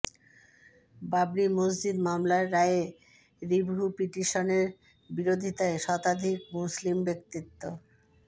বাবরি মসজিদ মামলার রায়ে রিভিউ পিটিশনের বিরোধিতায় শতাধিক মুসলিম ব্যক্তিত্ব